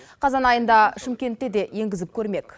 қазан айында шымкентте де енгізіп көрмек